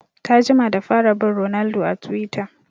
Ta jima da fara bin ronaldo a twitter